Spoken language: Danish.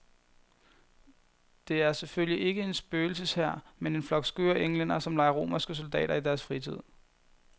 Det er selvfølgelig ikke en spøgelseshær, men en flok skøre englændere som leger romerske soldater i deres fritid.